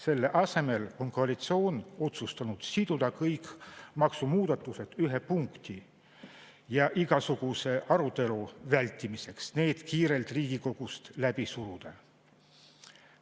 Selle asemel on koalitsioon otsustanud siduda kõik maksumuudatused ühte punkti ja igasuguse arutelu vältimiseks need kiirelt Riigikogust läbi suruda.